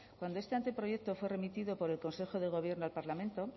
cuando este anteproyecto fue remitido por el consejo de gobierno al parlamento